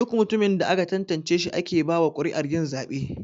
Duk mutumin da aka tantance shi ake bawa kuri'ar yin zabe.